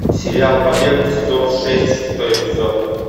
сериал побег сезон шесть шестой эпизод